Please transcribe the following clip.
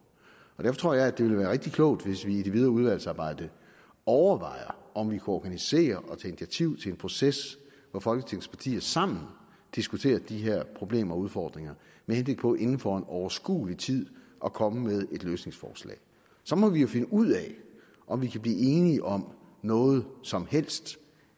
og derfor tror jeg at det ville være rigtig klogt hvis vi i det videre udvalgsarbejde overvejer om vi kunne organisere og tage initiativ til en proces hvor folketingets partier sammen diskuterer de her problemer og udfordringer med henblik på inden for en overskuelig tid at komme med løsningsforslag så må vi jo finde ud af om vi kan blive enige om noget som helst